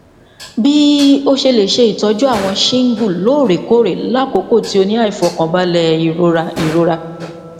bii o se le se itoju awon shingle loorekoore lakoko ti o ni aifokanbale irora irora